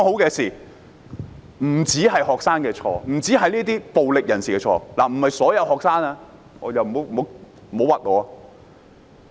這不只是學生的錯，亦不只是暴力人士的錯——我不是指所有學生，不要冤枉我。